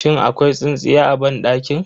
Shin akwai tsintsiya a banɗakin?